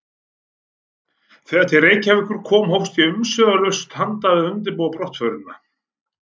Þegar til Reykjavíkur kom hófst ég umsvifalaust handa um að undirbúa brottförina.